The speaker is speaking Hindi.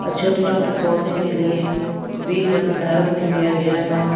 छोटे छोटे पौधे के लिए बीज का भंडारण भी किया गया है।